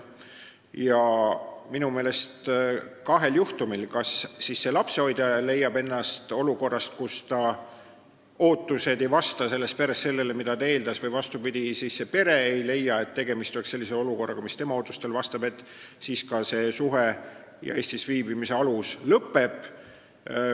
Ja kahel juhtumil – kas lapsehoidja leiab ennast olukorrast, kus ta ootused ei vasta sellele, mida ta perelt eeldas, või vastupidi, pere ei leia, et tegemist on olukorraga, mis tema ootustele vastab – lapsehoidja Eestis viibimise alus lõpeb.